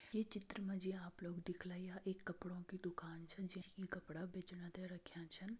ये चित्र मा जी आप लोग देखला यह एक कपड़ों की दुकान छा जख ई कपड़ा बेचणा त रख्यां छन।